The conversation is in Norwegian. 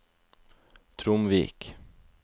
Tromvik